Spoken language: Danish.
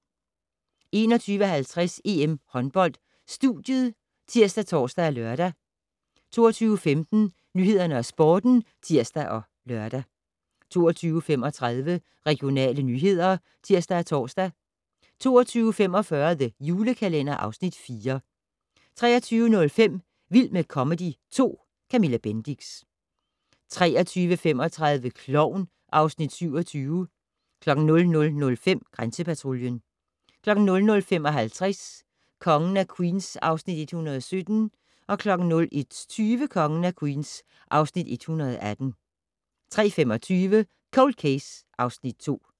21:50: EM Håndbold: Studiet ( tir, tor, lør) 22:15: Nyhederne og Sporten (tir og tor) 22:35: Regionale nyheder (tir og tor) 22:45: The Julekalender (Afs. 4) 23:05: Vild med comedy 2 - Camilla Bendix 23:35: Klovn (Afs. 27) 00:05: Grænsepatruljen 00:55: Kongen af Queens (Afs. 117) 01:20: Kongen af Queens (Afs. 118) 03:25: Cold Case (Afs. 2)